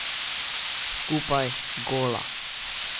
Skupaj, gola.